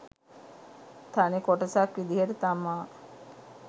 තනි කොටසක් විදියට තමා